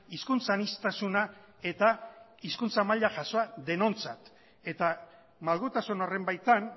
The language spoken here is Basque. hizkuntza aniztasuna eta hizkuntza maila jasoa denontzat eta malgutasun horren baitan